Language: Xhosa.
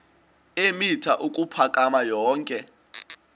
eemitha ukuphakama yonke